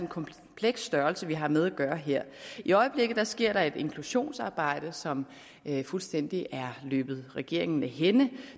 kompleks størrelse vi har med at gøre her i øjeblikket sker der et inklusionsarbejde som fuldstændig er løbet regeringen af hænde